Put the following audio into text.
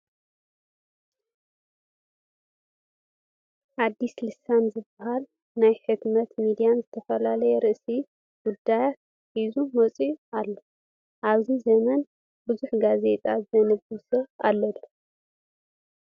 ኣዲስ ልሳን ዝበሃል ናይ ሕትመት ሚድያ ዝተፈላለዩ ርእሰ ጉዳያት ሒዙ ወፂኡ ኣሎ፡፡ ኣብዚ ዘመን ብዙሕ ጋዜጣ ዘንብብ ሰብ ኣሎ ዶ?